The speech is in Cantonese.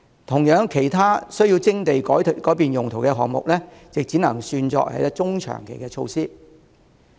同樣道理，其他需要徵地改用途的項目，亦只能算作中長期措施。